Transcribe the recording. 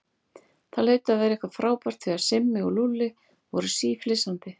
Það hlaut að vera eitthvað frábært því að Simmi og Lúlli voru síflissandi.